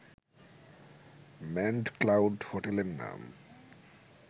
manned cloud হোটেলের নাম